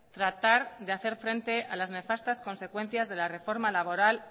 tratar de hacer frente a las nefastas consecuencias de la reforma laboral